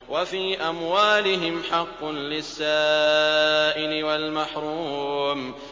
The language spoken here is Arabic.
وَفِي أَمْوَالِهِمْ حَقٌّ لِّلسَّائِلِ وَالْمَحْرُومِ